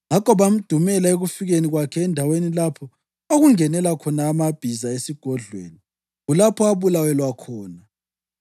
Ngakho bamdumela ekufikeni kwakhe endaweni lapha okungenela khona amabhiza esigodlweni, kulapho abulawelwa khona.